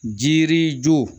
Jirijo